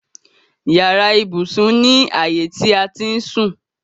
Yàrá ibùsùn ni ààyè ti a ti ń sùn.